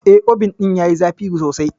Eh, Obin ɗin yayi zafi sosai.